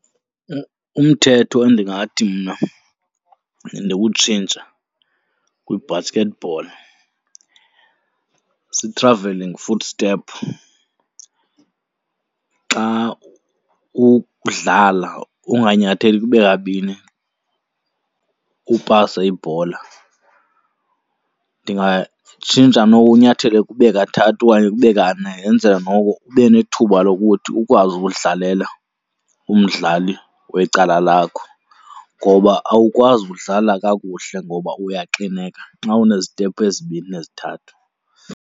Umthetho endingathi mna ndiwutshintshe kwi-basketball zii-travelling footstep, xa udlala unganyatheli kube kabini upase ibhola. Ndingatshintsha noko unyathele kube kathathu okanye kube kane yenzele noko ube nethuba lokuthi ukwazi ukudlalela umdlali wecala lakho. Ngoba awukwazi udlala kakuhle ngoba uyaxineka xa unezitephu ezibini nezithathu.